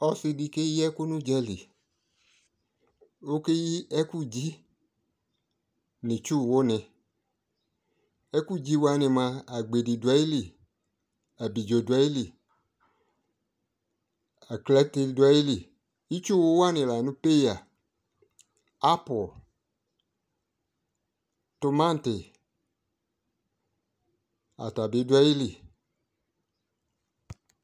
ɔsi di keyi ɛko no udzali, ɔke yi ɛkudzi no itsuwo ne ɛko dzi wani moa, agbedi do ayili, abidzo do ayili, aklate do ayili itsuwo wane la no peya, apple, tomati, ata bi do ayili